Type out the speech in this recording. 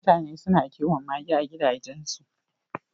Mutane na kiwon mage a gidajen su